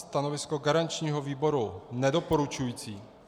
Stanovisko garančního výboru nedoporučující.